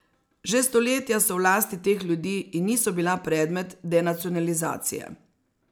Že stoletja so v lasti teh ljudi in niso bila predmet denacionalizacije.